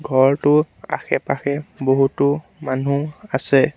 ঘৰটোৰ আশে-পাশে বহুতো মানু্হ আছে।